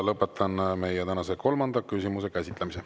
Lõpetan meie tänase kolmanda küsimuse käsitlemise.